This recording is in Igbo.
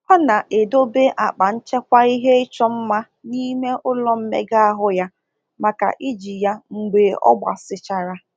Ọ na-edobe akpa nchekwa ihe ịchọ mma n’ime ụlọ mmega ahụ ya maka iji ya mgbe ọ gbasichara.